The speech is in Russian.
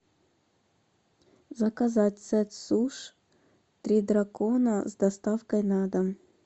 заказать сет суш три дракона с доставкой на дом